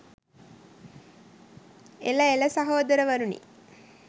එළ එළ සහෝදරවරුනි